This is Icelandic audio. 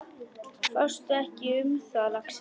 Fástu ekki um það, lagsi.